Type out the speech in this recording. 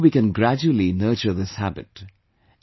Here too we can gradually nurture this habit